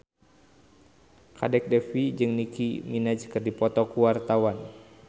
Kadek Devi jeung Nicky Minaj keur dipoto ku wartawan